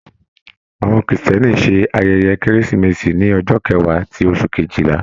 Àwọn Kírísítẹ́nì ṣe ayẹyẹ Keresimesi ní ọjọ́ kẹwa ti oṣù kejìlá.